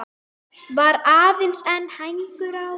Var aðeins einn hængur á.